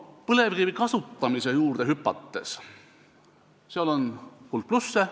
Põlevkivi kasutamise juurde hüpates: sellel on hulk plusse.